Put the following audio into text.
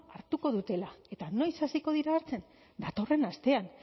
hartuko dutela eta noiz hasiko dira hartzen datorren astean